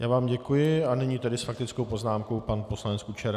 Já vám děkuji a nyní tedy s faktickou poznámkou pan poslanec Kučera.